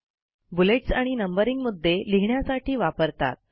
bullets आणि numbering मुद्दे लिहिण्यासाठी वापरतात